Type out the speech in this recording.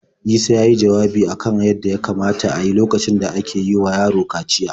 Isa ya yi jawabi a kan abin da ya kamata a yi lokacin da ake yi wa yaro kaciya.